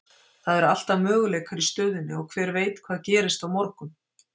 Það eru alltaf möguleikar í stöðunni og hver veit hvað gerist á morgun?